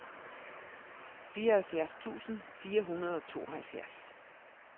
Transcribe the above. fireoghalvfjerds tusind fire hundrede og tooghalvfjerds